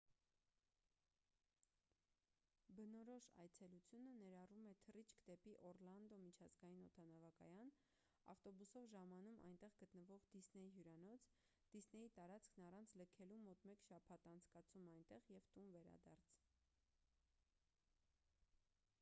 բնորոշ այցելությունը ներառում է թռիչք դեպի օռլանդո միջազգային օդանավակայան ավտոբուսով ժամանում այնտեղ գտնվող դիսնեյ հյուրանոց դիսնեյի տարածքն առանց լքելու մոտ մեկ շաբաթ անցկացում այնտեղ և տուն վերադարձ